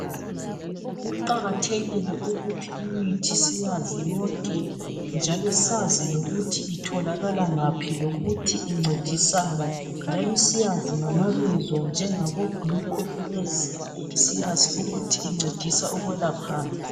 Kuqakathekile ukuthi imithi siyazi yonke njalo sazi lokuthi itholakala ngaphi, lokuthi incedisani ,njalo siyazi ngama bizo njengabo gluco freeze siyazi ukuthi incedisa ukwelaphani.